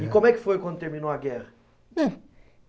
E como é que foi quando terminou a guerra? Eh